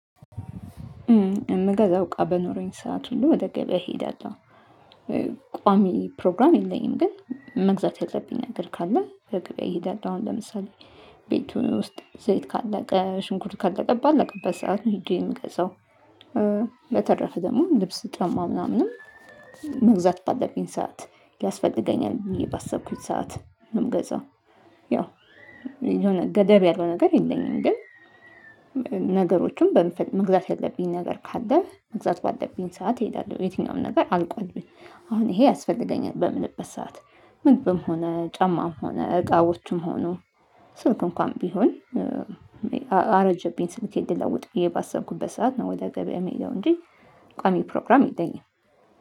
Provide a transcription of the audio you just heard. እምገዛው እቃ በኖረኝ ሰዓት ሁሉ ወደ ገበያ እሄዳለሁ፤ ቋሚ ፕሮግራም የለኝም ግን መግዛት ያለብኝ ነገር ካለ ወደ ገበያ ይሄዳለው። አሁን ለምሳሌ ቤቱን ውስጥ ዘይት ካለቀ፤ ሽንኩርት ካለቀ፤ ባለቀበት ሰዓት ነው ህጄ የሚገዛው። በተረፈ ደግሞ ልብስ ጫማ ምናምንም መግዛት ባለብኝ ሰዓት ያስፈልገኛል ብዬ ባሰብኩት ሰዓት ነው የምገዛው። የሆነ ገደብ ያለው ነገር የለኝም ግን በመግዛት ያለብኝ ነገር ካለ መግዛት ባለብኝ ሰዓት እሄዳለሁ የትኛውም ነገር አልቆልብኝ አሁን ይሄ ያስፈልገኛል በምንበት ሰዓት ምግብም ሆነ ጫማም ሆነ እቃዎቹም ሆኖ ስልክ እንኳን ቢሆን አረጀብኝ ስልኬን ለውጥ ባሰብኩበት ሰዓት ነው ወደ ገበያ የምሄደው እንጂ ቋሚ ፕሮግራም የለኝም።